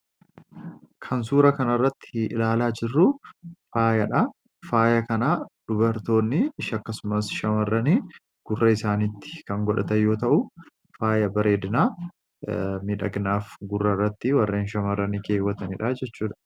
Kan suura kana irratti ilaalaa jirru faayadha. Faaya kana dubartoonni akkasumas shamarran gurra isaaniitti kan godhatan yoo ta'u, faaya bareedinaa miidhaginaaf warreen shamarranii keewwatan jechuudha.